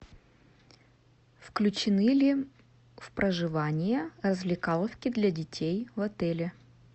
включены ли в проживание развлекаловки для детей в отеле